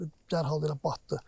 Dərhal elə batdı.